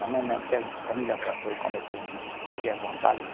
Também não tinha comida para todo, comer.